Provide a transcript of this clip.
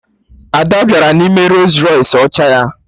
Ada bịara n'ime Rols Rọys ọcha ya